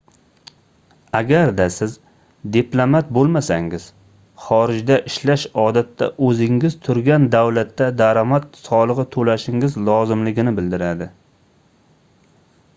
agarda siz diplomat boʻlmasangiz xorijda ishlash odatda oʻzingiz turgan davlatda daromad soligʻi toʻlashingiz lozimligini bildiradi